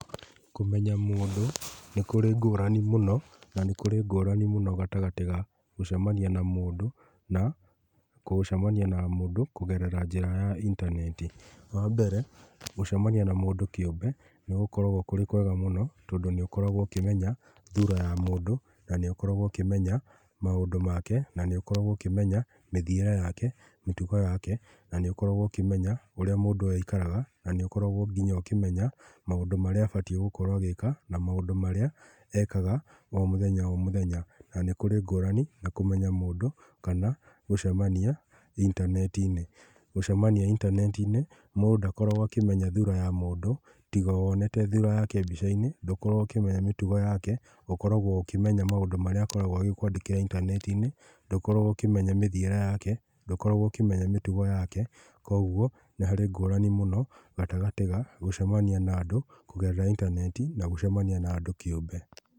Kũmenya mũndũ nĩ kũrĩ ngũrani mũno na nĩ kũrĩ ngũrani mũno gatagatĩ ga gũcemania na mũndũ na gũcemania na mũndũ kũgerera njĩra ya ĩntaneti. Wa mbere, gũcemania na mũndũ kĩũmbe nĩ gũkoragwo kũrĩ kwega mũno tondũ nĩ ũkoragwo ũkĩmenya thũra ya mũndũ na nĩ ũkoragwo ũkĩmenya maũndũ make na nĩ ũkoragwo ũkĩmenya mĩthiĩre yake, mĩtũgo yake na nĩ ũkoragwo ũkĩmenya ũrĩa mũndũ ũyũ aikaraga na nĩ ũkoragwo nginya ũkĩmenya maũndũ marĩa abatiĩ gũkorwo agĩka na maũndũ marĩa ekaga o mũthenya o mũthenya na nĩ kũrĩ ngũrani ya kũmenya mũndũ kana gũcemania intaneti-inĩ. Gũcemania intanetinĩ mũndũ ndakoragwo akĩmenya thũra ya mũndũ tiga wonete thũra yake mbica-inĩ ndũkoragwo ũkĩmenya mĩtũgo yake, ũkoragwo ũkĩmenya maũndũ marĩa akoragwo agĩkwandĩkagĩra intanetinĩ, ndũkoragwo ũkĩmenya mĩthiĩre yake, ndũkoragwo ũkĩmenya mĩtũgo yake. Koguo nĩ harĩ ngũrani mũno gatagatĩ ya gũcemania na andũ kũgerera intanetinĩ na gũcemania na andũ kĩũmbe.